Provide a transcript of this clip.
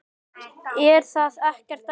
Er það ekkert erfitt?